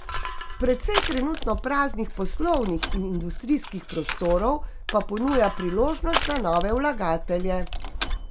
Precej trenutno praznih poslovnih in industrijskih prostorov pa ponuja priložnosti za nove vlagatelje.